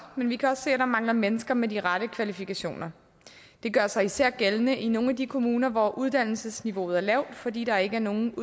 men vi kan også se at der mangler mennesker med de rette kvalifikationer det gør sig især gældende i nogle af de kommuner hvor uddannelsesniveauet er lavt fordi der ikke i nogen